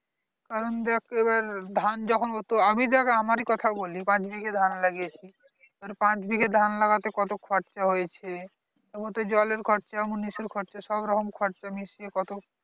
কারণ দেখ এবার ধান যখন হতো আমি দেখ আমারই কথা বলি পাঁচ বিঘে ধান লাগিয়েছি তো পাঁচ বিঘে ধান লাগাতে কত খরচা হয়েছে যেমন জলের খরচা মুনিশের খরচা সবরকম খরচা মিশিয়ে কত